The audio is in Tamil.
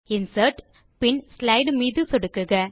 இன்சர்ட் பின் ஸ்லைடு மீது சொடுக்குக